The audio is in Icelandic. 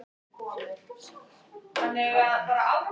Við vorum vanir ferðalögum þar sem þrengra var búið.